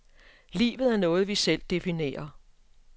Livet er noget, vi selv definerer.